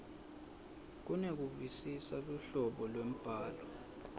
kunekuvisisa luhlobo lwembhalo